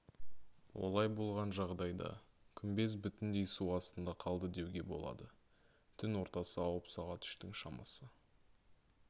олай болған жағдайда күмбез бүтіндей су астында қалды деуге болады түн ортасы ауып сағат үштің шамасы